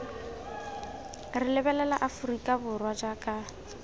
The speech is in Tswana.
re lebelela aforika borwa jaaka